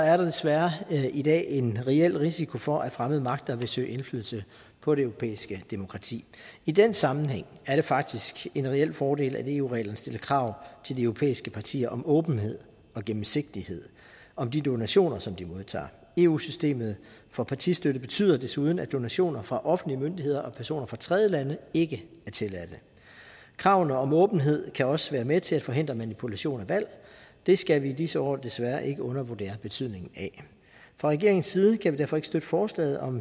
er der desværre i dag en reel risiko for at fremmede magter vil søge indflydelse på det europæiske demokrati i den sammenhæng er det faktisk en reel fordel at eu reglerne stiller krav til de europæiske partier om åbenhed og gennemsigtighed om de donationer som de modtager eu systemet for partistøtte betyder desuden at donationer fra offentlige myndigheder og personer fra tredjelande ikke er tilladte kravene om åbenhed kan også være med til at forhindre manipulation af valg det skal vi i disse år desværre ikke undervurdere betydningen af fra regeringens side kan vi derfor ikke støtte forslaget om